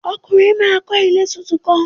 Ọkunrin naa yoo kọ ile titun kan.